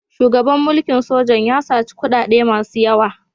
Shugaban mulkin sojan ya saci kuɗaɗe masu yawa.